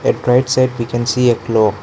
right side we can see a clock.